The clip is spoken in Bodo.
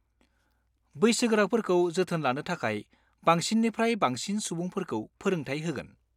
बैसोगोराफोरखौ जोथोन लानो थाखाय बांसिननिफ्राय बांसिन सुबुंफोरखौ फोरोंथाय होगोन।